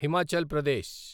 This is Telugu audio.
హిమాచల్ ప్రదేశ్